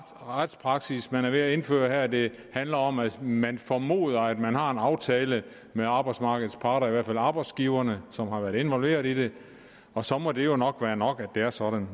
retspraksis man er ved at indføre her det handler om at man formoder at man har en aftale med arbejdsmarkedets parter i hvert fald arbejdsgiverne som har været involveret i det og så må det jo nok være nok at det er sådan